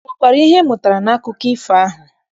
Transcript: Ọ nwekwara ihe ị mụtara n'akụkọ ifo ahụ?